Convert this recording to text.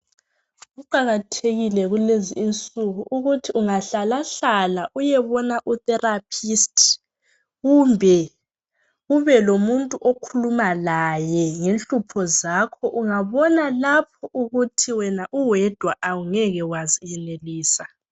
Kuqakathekile kulezi insuku ukuthi ungahlalahlala uyebona utherapist, kumbe kube lomuntu okhuluma laye ngenhlupho zakho. Ungabona lapho ukuthi wena uwedwa awungeke wazenelisa.